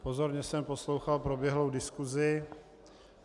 Pozorně jsem poslouchal proběhlou diskusi.